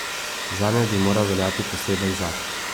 Zanjo bi moral veljati poseben zakon.